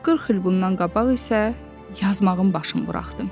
40 il bundan qabaq isə yazmağın başın buraxdım.